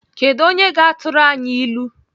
Kedụ onye ga-atụrụ anyị ilu?